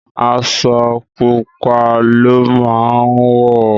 Aṣọ pupa ló má wọ.